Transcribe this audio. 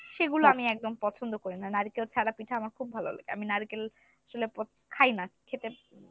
সেগুলো আমি একদম পছন্দ করি না, নারিকেল ছাড়া পিঠা আমার খুব ভালো লাগে আমি নারিকেল আসলে প~ খাই না, খেতে